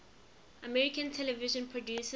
american television producers